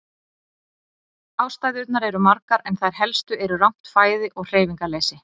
Ástæðurnar eru margar en þær helstu eru rangt fæði og hreyfingarleysi.